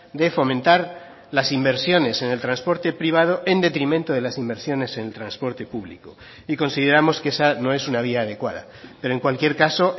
de fomentar las inversiones en el transporte privado en detrimento de las inversiones en transporte público y consideramos que esa no es una vía adecuada pero en cualquier caso